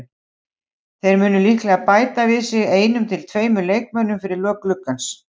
Þeir munu líklega bæta við sig einum til tveimur leikmönnum fyrir lok gluggans.